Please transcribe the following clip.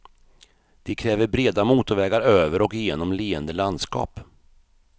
De kräver breda motorvägar över och genom leende landskap.